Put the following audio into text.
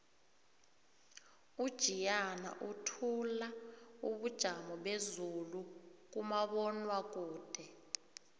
ujiyana uthula ubujamo bezulu kumabonwakude